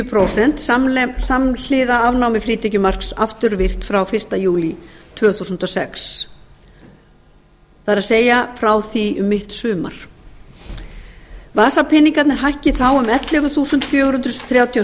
prósent samhliða afnámi frítekjumarks afturvirkt frá fyrsta júlí tvö þúsund og sex það er frá því um mitt sumar vasapeningarnir hækki þá um ellefu þúsund fjögur hundruð þrjátíu og